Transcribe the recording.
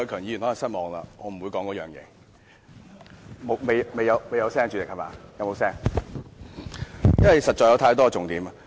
有沒有聲音？——因為實在有太多重點。